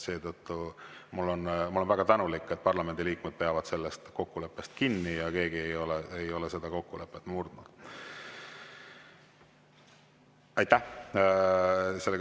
Olen väga tänulik, et parlamendiliikmed peavad sellest kokkuleppest kinni ja keegi ei ole seda kokkulepet murdnud.